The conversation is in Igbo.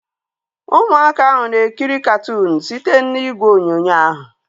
Ụmụaka ahu na-ekiri katụụnu site n'igwe onyonyo ahu